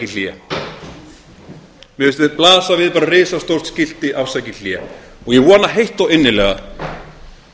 hlé mér finnst blasa við bara risastórt skilti afsakið hlé og ég vona heitt og innilega